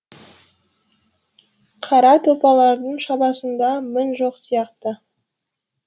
қара тұлпардың шабысында мін жоқ сияқты